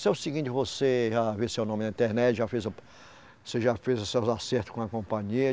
É o seguinte, você já viu seu nome na internet, já fez o, você já fez os seus acertos com a companhia.